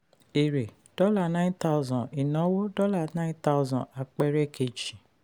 èrè dollar nine thousand dollars ìnáwó nine thousand dollars apẹẹrẹ keji.